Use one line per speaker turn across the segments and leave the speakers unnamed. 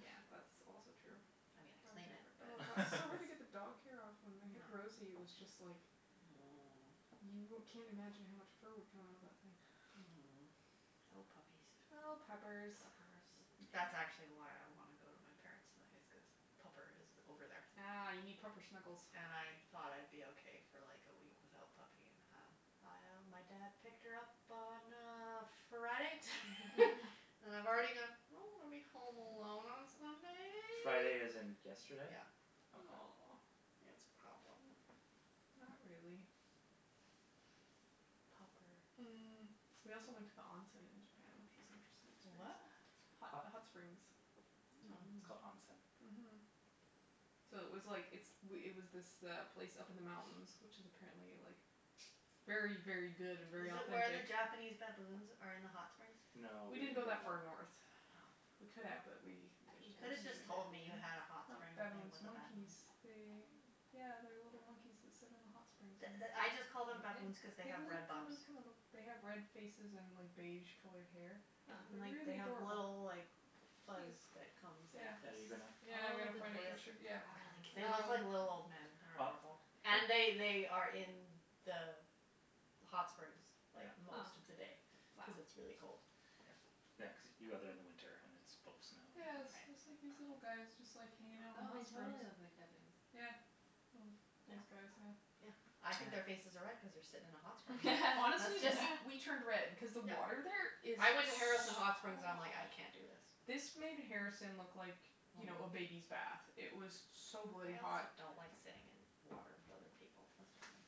Yeah, that's also true.
I mean, I clean it,
Oh,
but.
god, it's so hard to get the dog hair off. When we had Rosie, it was just like you wou- can't imagine how much fur would come out of that thing.
Oh, puppies.
Oh, puppers.
Puppers. That's actually
Yeah.
why I want to go to my parents' tonight is cuz pupper is over there.
Ah, you need proper snuggles.
And I thought I'd be okay for like a week without puppy and, um, my dad picked her up on, uh, Friday and I've already gone I don't want to be home alone on
Friday as
Sunday.
in yesterday?
Yeah.
Okay.
Aw.
It's a problem.
Not really.
Popper.
Mm. We also went to the onsen in Japan, which was interesting
To what?
experience. Hot
Hot.
hot springs.
It's
Mm.
called onsen.
Mhm. So it was like it's it was this place up in the mountains, which is apparently like very, very good and very
Is it where the
authentic.
Japanese baboons are in the hot springs?
No, we
We didn't
didn't
go
go
that far
there.
north.
Oh.
We could have but we just
There's
You could have
Japanese
just told me you
baboons?
had a hot
Um,
spring things
baboons,
with
monkeys.
baboons.
They
Oh.
Yeah, they're little monkeys that sit in the hot springs
The
and
the I just called them baboons cuz they
They've
have red
look
bums.
kinda kinda look, they have red faces and like beige colored hair.
Huh.
And
They're
like, they
really
have
adorable.
little, like, fuzz
Cute.
that comes like this.
Are you gonna?
Yeah, I'm going to find a picture, yeah.
They look
um
like little old men. They
Ah.
are adorable. And they they are in the hot springs like
Yeah.
most of the day
Huh.
cuz it's really cold.
Yeah, yeah cuz you go there in the winter and it's full snow.
Yeah, it's it's like these little guys just like hanging out in the
Oh,
hot
they
springs.
totally look like baboons.
Yeah. Well, these guys, yeah.
Yeah. I think their faces are red
Yeah.
cuz they're sitting in a hot spring. That's
Honestly,
just.
we we turned red
Yeah.
cuz the
Yeah.
water there is
I went to
so
Harrison
hot.
Hot Springs and I'm like, "I can't do this".
This made Harrison look like, you
Mhm.
know, a baby's bath. It was so bloody
I
hot.
also don't like sitting in water with other people. That's just me.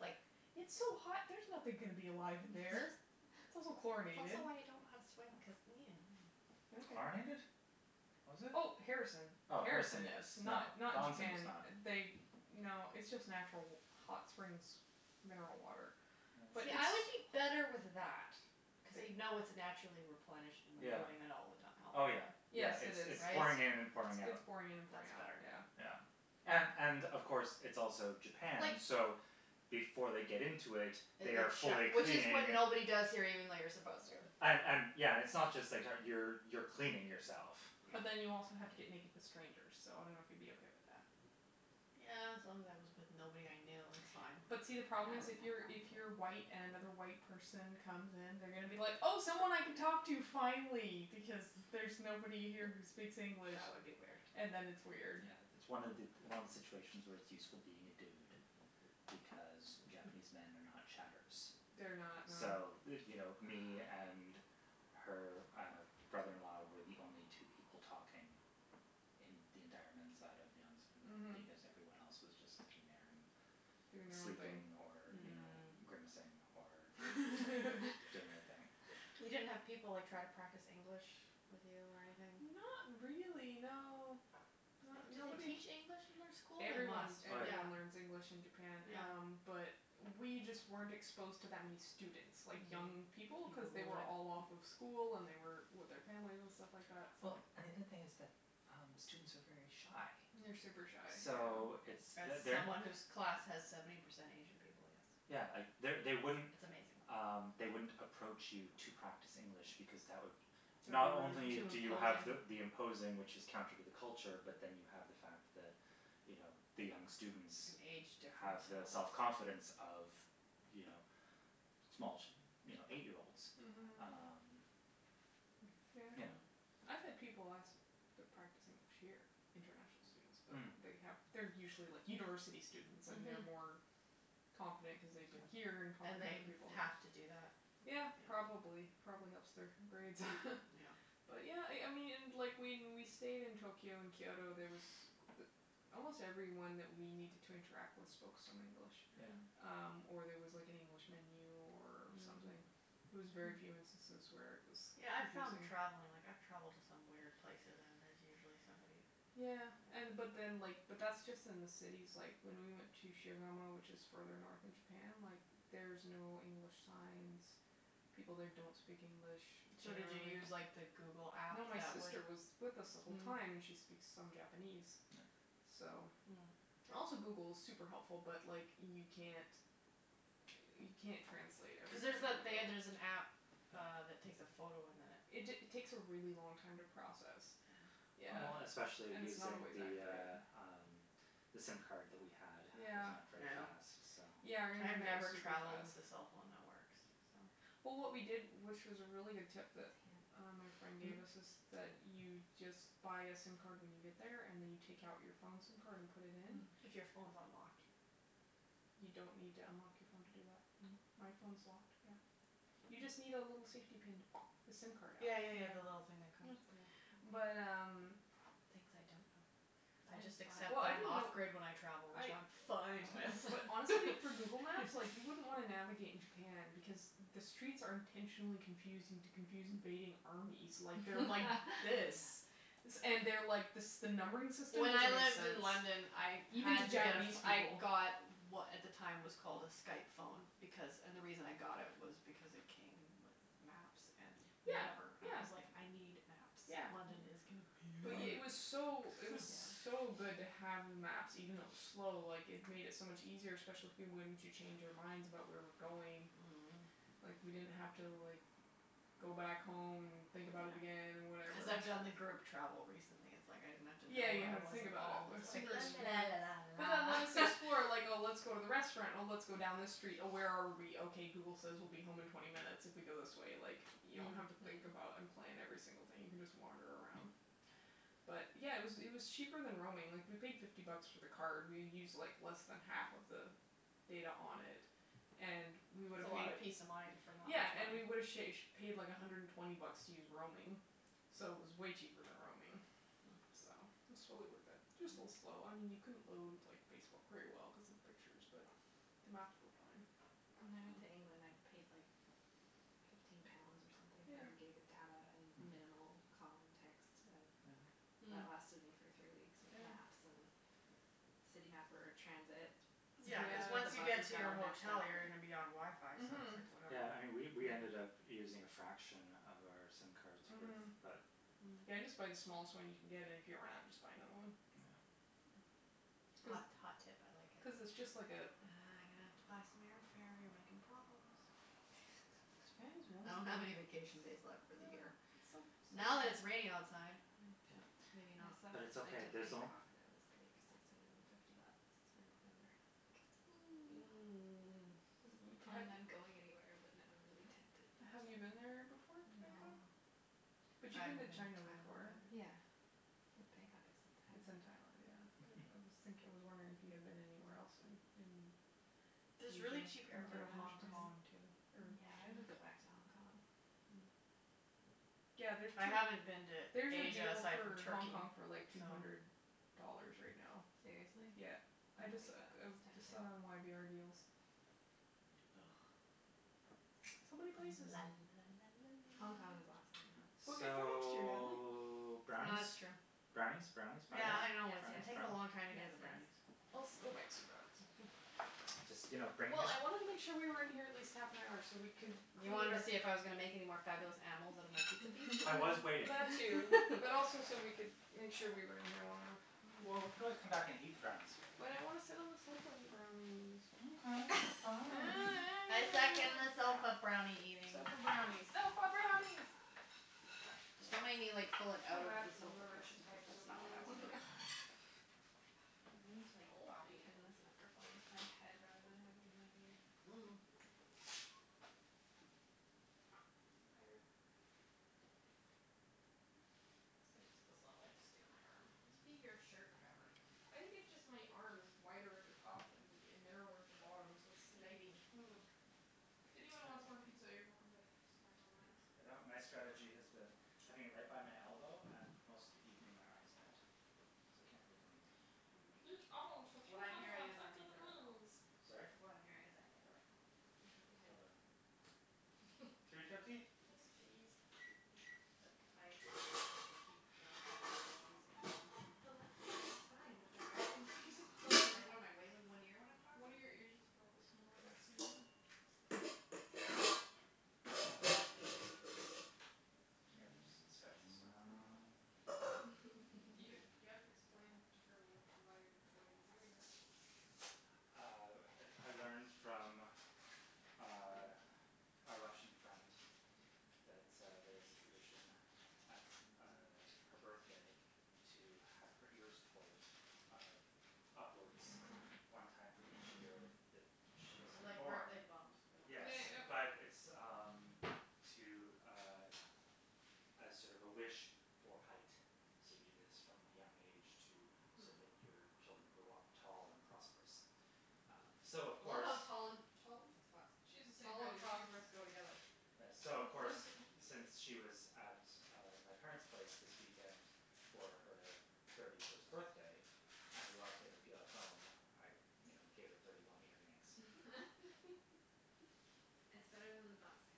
Like.
It's so hot; there's nothing gonna be alive in there. It's also
It's
chlorinated.
also why I don't know how to swim cuz
Okay.
Chlorinated? Was it?
Oh, Harrison.
Oh, Harrison
Harrison
yes.
is,
No,
not not
the onsen
Japan.
is not.
They, no, it's just natural hot springs mineral water. But
Yeah,
it's
I would be
Yes.
better with that cuz you know it's naturally replenished and
Yeah.
moving out all the time,
Oh, yeah,
right?
Yes,
yeah,
it
it's
is.
it's
It's it's
pouring in and pouring out.
pouring in and pouring
That's
out,
better.
yeah.
Yeah. And and, of course, it's also
Like.
Japan, so before they get into it,
That
they are
they've
fully
showered. Which is when
cleaning.
nobody does here even though you're supposed to.
And and, yeah. It's not just that how you you're cleaning yourself.
But then you also have to get naked with strangers, so I don't know if you'd be okay with that.
Yeah, as long as I was with nobody I knew, that's fine.
But see, the
I wouldn't have a
problem is, if you're, if you're
problem with it.
white and another white person comes in, they're going to be like, oh, someone I can talk to finally, because there's nobody here who speaks English.
That would be weird.
And then it's weird.
Yeah, it's one it's one of the situations where it's useful being a dude because Japanese men are not chatterers.
They're not,
So,
no.
you know, me and her uh brother in law were the only two people talking in the entire men's side of the
Mhm.
onsen. Because everyone else was just in there and
Doing their own thing.
sleeping or, you know,
Mm.
grimacing or or doing their thing.
You didn't have people like try to practice English with you or anything?
Not really, no.
Do they
Nobody
teach
k-
English in their school? They
Everyone,
must,
Oh, yeah.
yeah.
everyone learns English in Japan um
Yeah.
But we just weren't exposed to that many students, like young people, cuz they were all off of school and they were with their family and stuff like that, so.
Well, and the other thing is that uh students are very shy.
They're super shy,
So
yeah.
it's
As
they're they're not
someone whose class has seventy percent Asian people, yes.
Yeah, they
It's
they wouldn't
amazing.
Um, they wouldn't approach you to practice English because that would Not only
Too
do you have the
imposing.
imposing, which is counter to the culture, but then you have the fact that, you know, the young students
An age
have
difference and
the self
all that.
confidence of, you know, small, you know, eight year olds.
Mhm.
Um, you know
Yeah. I've had people ask to practice English here, international students, but
Hm.
they have they're usually, like, university students and they're
Mhm.
more confident cuz they've been here and talk
And
with
they
other people.
have to do that.
Yeah,
Yeah.
probably. It probably helps their grades
Yeah.
But yeah, I I mean, and like, when we stayed in Tokyo and Kyoto, there was almost everyone that we needed to interact with spoke some English.
Yeah.
Um, or there was like an
Mm.
English menu or something.
Mm.
It was very few instances where it was
Yeah, I found
confusing.
travelling, like, I've travelled to some weird places and there's usually somebody
Yeah, and but
that.
then, like, but that's just in the cities. Like, when we went to Shigamo, which is further north in Japan, like, there's no English signs. People there don't speak English
So did you
generally.
use, like the Google app
No, my
that would
sister was with us the whole
Mm.
time, and she speaks some Japanese,
Yeah.
so.
Mm.
Also, Google is super helpful, but like, you can't you can't translate
Cuz there's
everything on
that
the
they there's
go.
an app uh that takes a photo and then it
It ta- takes a really long time to process.
Yeah.
Yeah.
Well, especially
And it's not
using
always
the,
accurate.
uh, um, the sim card that we had was not very
Yeah.
Yeah.
fast, so
Yeah, our
I've
internet was
never
super
travelled
fast.
with the cell phone networks, so.
Well, what we did, which is a really good tip that uh my friend gave
Mm?
us is that you just but a sim card when you get there and then you take out your phone sim card and put it in.
If your phone's unlocked.
You don't need to unlock your phone to do that.
Mm?
My phone's locked, yeah. You just need a
Hm.
little safety pin to the sim card out.
Yeah, yeah, yeah, the little thing that comes. Yeah.
Yeah. But um
Things I don't know. I just accept
Well, I
that I'm
didn't
off
know.
grid when I travel,
I
which I'm fine with.
But honestly, for Google Maps, like, you wouldn't wanna navigate in Japan because the streets are intentionally confusing to confuse invading armies. Like, they're like this. And they're like, this the numbering system
When I
doesn't make
lived
sense.
in London I
Even to
had to get,
Japanese
I
people.
got what at the time was called a Skype phone because, and the reason I got it was because it came with maps and
Yeah,
whatever. I
yeah,
was like, I need
yeah.
maps. London is
But
Oh, yeah.
it
confusing.
was
Oh,
so it was
yeah.
so good to have the maps. Even though it was slow, like, it made it so much easier, especially once you change your minds about where we're going.
Mhm.
Like, we didn't have to, like, go back home and think about it again and
Yeah.
whatever.
Cuz I've done the group travel recently. It's like, I didn't have to
Yeah,
know
you
where
don't
I
have to
was
think
at
about
all. I was like la la la la la
it. But then
la
let us
la
explore, like, oh, let's go to the restaurant, or let's go down this street, oh, where are we? Okay Google says we'll be home in twenty minutes if we go this way, like, you don't have to think
Mm.
about and plan every single thing. You can just wander around. But, yeah, it was it was cheaper than roaming. Like, we paid fifty bucks for the card. We used like less than half of the data on it and we would
It's a
have
lot
paid
of peace of mind for not
Yeah,
much
and we
money.
would have sha- paid like a hundred and twenty bucks to use roaming, so it was way cheaper than roaming,
Mm.
so it's totally worth it. Just a little slow. I mean, you couldn't load, like, Facebook very well cuz of the pictures, but the maps were fine.
When I went to England, I paid like fifteen pounds or something
Yeah.
for a gig of data and
Mhm.
minimal call and text and
Yeah.
Mm.
that lasted me for three weeks with
Yeah.
maps, and City Mapper, transit.
Yeah, cuz
Sometimes the
once you
Yeah.
get
buses
to
got
your
all messed
hotel
up,
you're gonna
but
be on WiFi, so it's like
Mhm.
whatever.
Yeah, and we we ended up using a fraction of our sim cards with
Mhm.
that.
Mm.
Yeah, just buy the smallest one you can get, and if you run out just buy another one.
Yeah.
Cuz
Hot, hot tip, I like
cuz it's
it.
just like a
Ah, I'm gonna have to buy some airfare. You're making problems.
His parents
I don't have any vacation days left for the year.
It's so
Now that
so
it's raining outside.
Yeah,
Maybe not. I saw
but
a
it's
flight
okay,
to
there's
Bangkok that was like six hundred and fifty bucks for November and I was like I wasn't really planning on going anywhere, but now I'm really tempted.
Have you been there before, to
No.
Bangkok?
I
But you've
haven't
been to
been to Thailand
China before.
either.
Yeah. But Bangkok is
It's
in
in
Thailand.
Thailand, yeah, but I was thinking, I was wondering if you had been anywhere else in in
There's really
Asia
cheap air fare to Hong Kong, too.
Yeah, I would go back to Hong Kong.
Mm.
Yeah, there's
I
to
haven't been to
There's a
Asia
deal
aside from
for Hong
Turkey,
Kong for, like, two
so.
hundred dollars right now.
Seriously?
Yeah.
I
I
like
just
it.
I
That's
just saw it
tempting.
on y b r deals. So many places.
La la la la la.
Hong Kong is awesome, though.
Book it for next year, Natalie.
So,
Oh, that's
brownies?
true.
Brownies, brownies, brownies,
Yeah, I
Yes,
know. It's
brownies,
yes,
taking a
brownies?
long
yes,
time to get to the
yes.
brownies.
go make some brownies.
Just, you know, bring
Well,
this.
I wanted to make sure we were in here at least half an hour so we can
You wanted to see if I was gonna make any more fabulous animals out of my pizza piece?
I was waiting.
That too, but also so we could make sure we were in here long enough.
Well, we could always come back and eat the brownies here.
But I want to sit on the sofa and eat brownies.
Okay, fine.
I second the sofa brownie eating.
Sofa brownies, sofa brownies!
Just don't make me, like, pull
I
it
feel
out of
bad
the
for
sofa
whoever has
cushion
to
cuz
type
that's
sofa
not what I
brownies
wanna
now.
do.
I need to, like,
Oh, I
bobby
need
pin
help
this
again.
microphone to my head rather than having it in my ear.
Mm.
Higher. Thank you. This thing just does not like to stay on my arm.
It must be your shirt fabric.
I think it's just my arm is wider at the top than and narrower at the bottom so it's sliding.
Mm.
If anyone wants more pizza, you're welcome to snack on mine.
my strategy has been having it right by my elbow and most of the evening my arm is bent, so it can't really go anywhere.
Mm.
Heat oven to three
What I'm
hundred
hearing
and
is I
fifty
made the right call.
degrees.
Sorry?
What I'm hearing is I made the right call.
I think you did.
Well done. Three
Except
fifty?
Yes, please.
I keep not having using
The left one is fine, but the right one keeps falling.
in one ear when I'm talking?
One of your ears is probably smaller
Here, we'll just stretch this one out a little bit.
You you have to explain to her what why why you're doing that.
Uh, I I learned from uh a Russian friend that uh there's a tradition at uh her birthday to have her ears pulled uh upwards one time for each year that she's
Like
born.
birthday bumps but
Yes, but it's, um, to, uh, as sort of a wish for height. So, you do this from a young age to so that your children
Mm.
grow up tall and prosperous. Um so of
I love
course
how tall and tall? That's hot.
She's the same
Tall
height
and
as you.
prosperous go together.
So, of course, since she was at uh my parents' place this weekend for her thirty first birthday and we wanted to make her feel at home, I you know, gave her thirty one ear yanks.
That's better than the bumps, I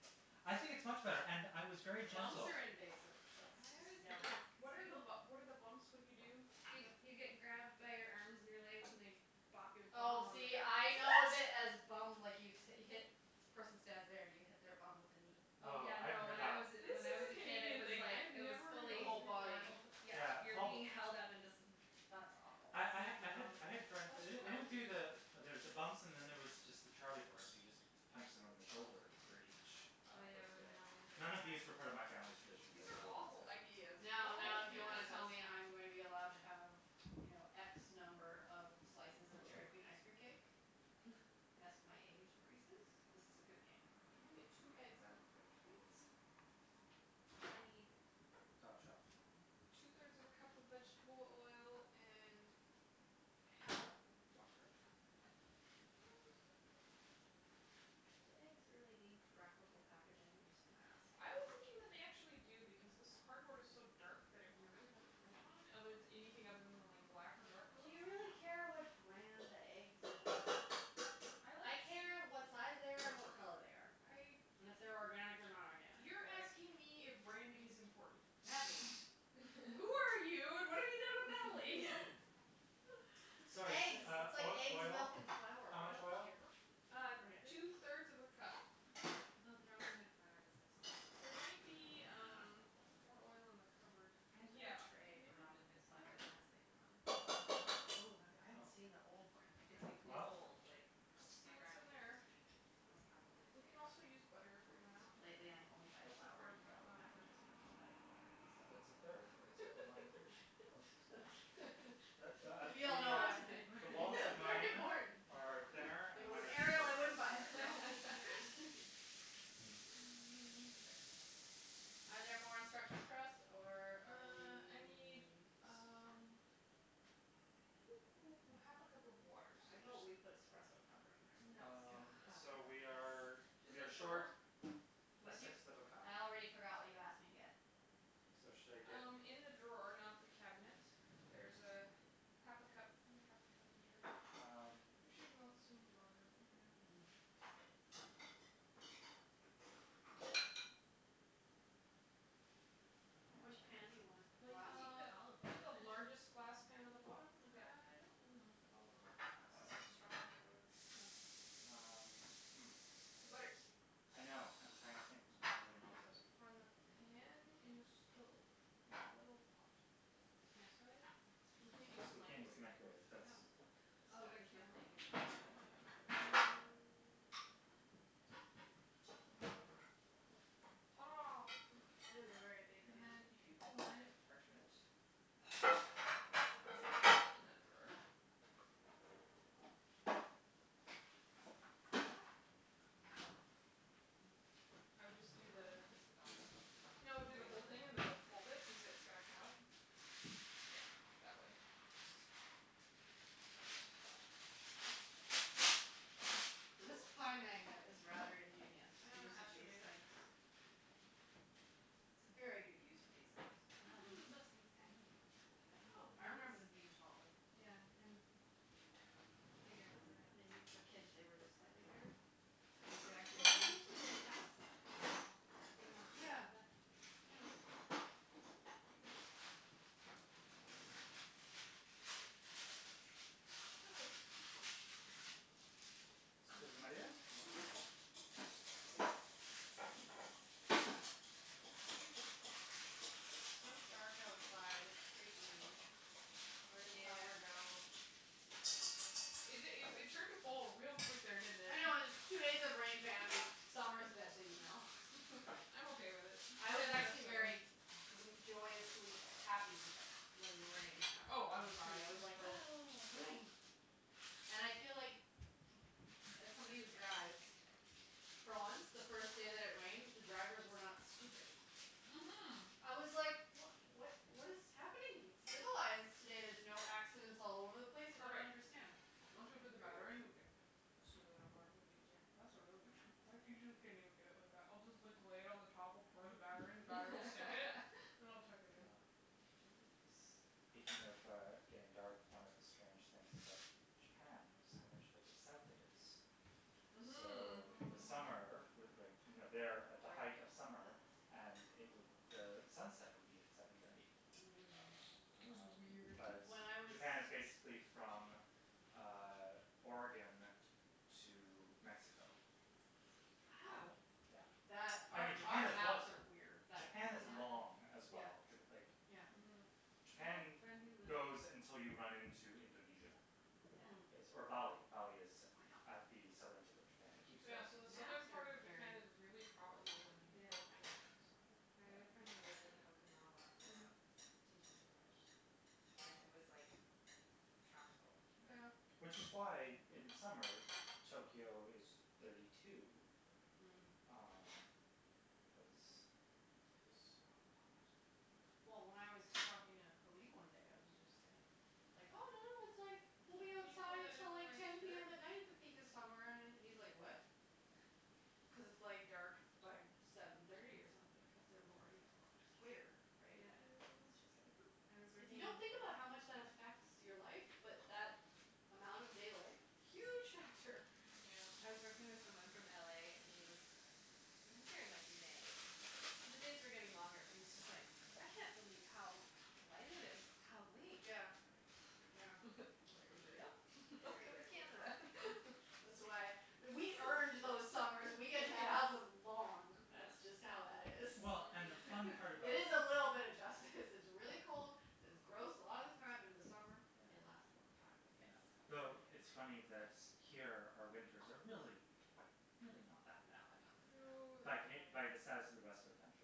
have to say.
I think it's much better, and I was very
Bumps
gentle.
are invasive. That's
I always
just no.
hated
What
because
are,
people
what are the bumps? What do you do?
You you get grabbed by your arms and your legs and they bop your bum
Oh,
on the
see, I know
ground.
it as
What?
bum, like, you hit, the person stands there and you hit their bum with a knee.
Oh,
Oh,
yeah,
I haven't
no,
heard
when
that
I was
one.
This
when
is
I was
a
a kid it
Canadian
was
thing. I
like,
have
it was
never heard
The
of
fully
this
whole
before.
body.
Oh, yeah,
Yeah
you're being held up and just
That's awful.
I I ha- I had I had friends, they don't they don't do the there's the bumps and then there was just the charlie horse; you just punch someone in the shoulder for each uh
Oh, yeah, I
birthday.
remember we would do
None of these
that.
refer to my family's traditions
These are awful
Yeah.
ideas.
Now,
Why
now, if
would
you
you do
want to
this?
tell me I'm going to be allowed to have, you know, x number of slices of Dairy Queen ice cream cake as my age increases, this is a good game.
Can you get two eggs out of the fridge, please? I need
Top shelf.
Two
Hm.
thirds of a cup of vegetable oil and half a cup of water.
Do eggs really need graphical packaging? I'm just gonna ask.
I was thinking that they actually do because this cardboard is so dark that it would be really hard to print on, other anything other than the like black or dark
Do
colors.
you really care what brand the eggs you're buying? I care what size they are and what color they are. And
I.
if they're organic or not organic.
You're asking me if branding is important? Natalie. Who are you and what have you done with Natalie?
Sorry,
Eggs;
uh,
it's like
uh,
eggs,
oil,
milk and flour.
how
I don't
much oil?
care what brand it
two
is.
thirds of a cup.
Though the Robin Hood flour does have
There
some
might be, um, more oil in
Yeah.
the cupboard.
I have like
Yeah,
a tray from
maybe.
Robin
Is
Hood that
there?
it has like Robin Hood.
Oh, that would, I haven't
No.
seen the old branding.
It's ,
That'd
like,
be
Well?
cool.
old, like,
Let's see
my
what's in
grandma gave it
there.
to me.
Oh
It's probably
it's
like
We can
probably
from
also
the
use butter if we
forties
run
or
out.
Lately
something.
I only buy
That's a
flour
quarter
in
cup,
yellow
not a third.
packages with Helvetica lettering, so.
That's a third.
Oh,
It's
is it?
got the one three.
Oh, it's so small.
We all
The,
know what
uh,
I'm saying.
the walls of
That's very
mine
important.
are thinner,
If it
and mine
was
are deeper
Arial, I
than
wouldn't
yours.
buy it Are there more instructions for us, or are
Uh, I need,
we?
um half a cup of water, so
How
there's.
about we put espresso powder in there?
No,
Um,
no.
so we are
Yes.
we are short
drawer?
a
What'd you?
sixth of a cup.
I already forgot what you asked me to get.
So, should I get?
Um, in the drawer, not the cabinet there's half a cup. Find a half a cup measure.
Um.
We should melt some butter, yeah.
Which pan do you
Uh
want?
Well, you
Glass?
can
Uh,
put olive
get the
oil in it.
largest glass pan in the bottom. I don't want
Okay.
to put olive oil cuz it's so strong flavored.
Oh.
Um, hm.
Butter.
I know, I'm trying to think how I'm going to melt it.
On the pan, in the stove, in a little pot.
Microwave?
We can't use the
we can't use
microwave.
the microwave, that's
Oh.
It's
Oh,
got a
cuz the
camera
thing is
on it,
on it.
yeah. Hurrah.
It is a very big
And
pan.
then if you can line it with parchment.
Where's
There is
the
parchment in
parchment?
that drawer. I would just do the
Just the bottom?
No, do the whole thing and then we'll fold it cuz it's gonna come up. Yeah, that way. Yes.
This
Cool.
pie magnet is rather ingenious,
Uh made it.
things. It's a very good use of these things.
Wow, they make
Mhm.
those things tiny now.
Can I
I
have
remember them
a
being
whisk?
taller.
Yeah, and bigger around.
Maybe for kids they were just slightly bigger? You could actually
Well, they're
breathe through
usually,
the
like,
middle.
that size.
Yeah, yeah, yeah.
Perfect.
my dear.
It's so dark outside, it's creepy. Where did summer
Yeah.
go?
It it it turned to fall real quick there, didn't it?
I know, it's two days of rain, bam, summer's dead to me now.
I'm okay with it
I was actually very gr- joyously happy when the rain happened
Oh, I
on
was, too,
Friday. I
I
was
was
like,
thrilled.
"Ah, rain." And I feel like, as somebody who drives, for once, the first day that it rained, the drivers were not stupid.
Mhm.
I was like, what what what is happening? It's civilized today, there's no accidents all over the place, I don't
Perfect.
understand.
Once we put the batter
Weird.
in, we can smooth it out more; it'll be easier. That's a really good job. I get it like that. I'll just like lay it on the top or pour the batter in, the batter will sink it and I'll tuck it in.
Um, is speaking of uh getting dark, one of the strange things about Japan was how much further south it is.
Mhm.
So the summer, with like, you know
Dark.
they're at the height of summer and it would, sunset would be at seven thirty.
Mm.
It was
Um,
weird.
but
When I was
Japan is basically from um Oregon to Mexico.
Wow.
Yeah.
That
I
our
mean, Japan
our
is
maps are weird.
Japan is long as
Yeah,
well. Like
yeah.
Mhm.
Japan goes until you run into Indonesia
Mm.
base or
Wow.
Bali. Bali is at the southern tip of Japan. It keeps
Yeah, so the southern
Maps are
part of
very
Japan is really
poorly
tropical, like, you
designed.
can grow
Yeah.
pineapples and stuff there.
I had a friend who lived
Yeah.
in Okinawa for a
Mhm.
while cuz he was teaching English and it was like tropical.
Yeah.
Yeah.
Which is why in
Hm.
summer, Tokyo is thirty two,
Mm.
um, cuz
It was so hot.
Well, when I was talking to Halib one day, I was just saying, like, oh, no, no, it's like we'll be outside till like ten PM at night at the peak of summer, and he's like, what? Cuz it's like dark by seven thirty or something cuz they're more e- equator, right?
Yeah.
It's
Thank
just like
I was
If you
working in
don't
you.
think about how much that affects your life but that amount of daylight, huge factor.
I
Yeah.
was working with someone from LA and he was, he was here in, like, May, but the days were getting longer and he was just like, I can't believe how light it is how late.
Yeah, yeah. Very weird.
Yep,
Very,
welcome
very
to
weird.
Canada.
That's why we earned those summers. We get to have them long, that's just how that is.
Well, and the
Mm.
fun part about
It is a little bit of justice. This is really cold, it's gross a lotta time, but in the summer
Yeah.
they last a long time.
Yeah.
Yes.
The it's funny that here our winters are really, really not that
No,
bad.
not that bad.
No,
No.
By Cana-
they're ,
by the
fine.
status of the rest of the country,